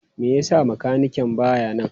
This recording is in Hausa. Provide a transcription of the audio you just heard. Me yasa makanikin baya nan?